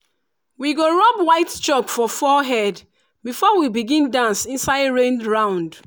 we go rub white chalk for forehead before we begin dance inside rain round.